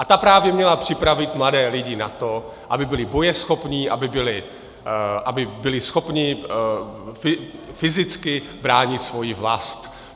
A ta právě měla připravit mladé lidi na to, aby byli bojeschopní, aby byli schopní fyzicky bránit svoji vlast.